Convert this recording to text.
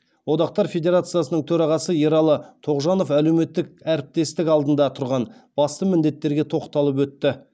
одақтар федерациясының төрағасы ералы тоғжанов әлеуметтік әріптестік алдында тұрған басты міндеттерге тоқталып өтті